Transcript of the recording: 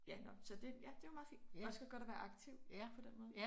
Ja nå så det ja det jo meget fint også ret godt at være aktiv på den måde